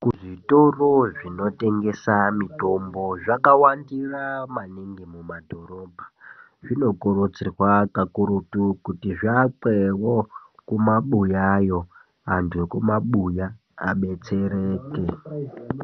KuZvitoro zvinotengesa mitombo zvakawandira mumadhorobha zvinokurudzirwa kutizviakwe mumabuya mo antu emumabuya abatsirike.